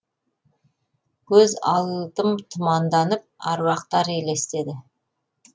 көз алдым тұманданып аруақтар елестеді